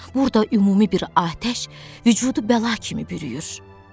Burada ümumi bir atəş vücudu bəla kimi bürüyür.